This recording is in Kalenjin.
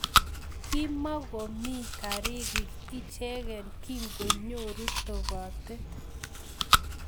Kimogomii girikiek ichegei kingonyoruu topatet